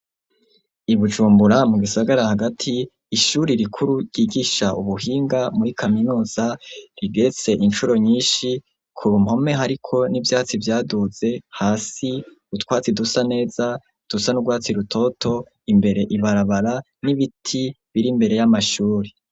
I Bujumbura mu gisagara hagati ishuri rikuru ryigisha ubuhinga muri kaminuza rigetse inshuro nyinshi ku ruhome ariko n'ivyatsi vyaduze hasi utwatsi dusa neza dusa n'urwatsi rutoto imbere ibarabara n'ibiti biri mbere y'amashuri.